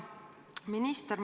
Hea minister!